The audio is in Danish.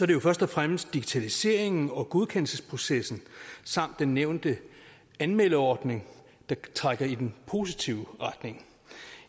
det jo først og fremmest digitaliseringen og godkendelsesprocessen samt den nævnte anmeldeordning der trækker i den positive retning